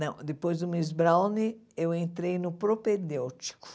Não, depois do Miss Browne, eu entrei no Propedêutico.